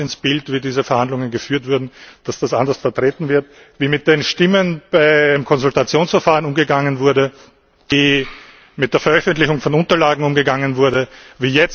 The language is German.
Es passt ins Bild, wie diese Verhandlungen geführt wurden, dass das anders vertreten wird, wie mit den Stimmen beim Konsultationsverfahren umgegangen wurde, wie mit der Veröffentlichung von Unterlagen umgegangen wurde, wie jetzt mit der